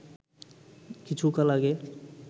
কিছুকাল আগে